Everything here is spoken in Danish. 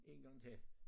Én gang til